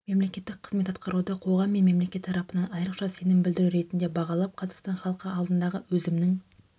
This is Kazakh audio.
мемлекеттік қызмет атқаруды қоғам мен мемлекет тарапынан айрықша сенім білдіру ретінде бағалап қазақстан халқы алдындағы өзімнің